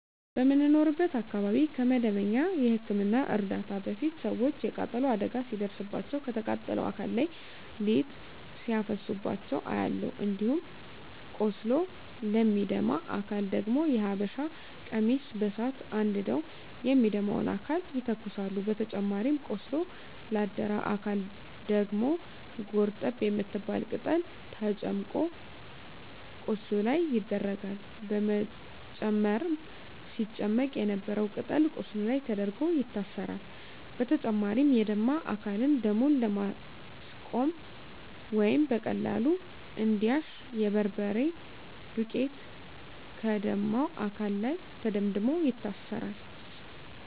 በምኖርበት አካባቢ ከመደበኛ የህክምና እርዳታ በፊት ሰወች የቃጠሎ አደጋ ሲደርስባቸው ከተቃጠለው አካል ላይ ሊጥ ሲያፈሱባቸው አያለሁ። እንዲሁም ቆስሎ ለሚደማ አካል ደግሞ የሀበሻ ቀሚስ በሳት አንድደው የሚደማውን አካል ይተኩሳሉ በተጨማሪም ቆስሎ ላደረ አካል ደግሞ ጎርጠብ የምትባል ቅጠል ተጨምቆ ቁስሉ ላይ ይደረጋል በመጨረም ሲጨመቅ የነበረው ቅጠል ቁስሉ ላይ ተደርጎ ይታሰራል። በተጨማሪም የደማ አካልን ደሙን ለማስቆመረ ወይም በቀላሉ እንዲያሽ የበርበሬ ዱቄት ከደማው አካል ላይ ተደምድሞ ይታሰራል።